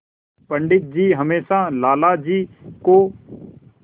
पंडित जी हमेशा लाला जी को